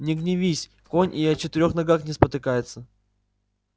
не гневись конь и о четырёх ногах не спотыкается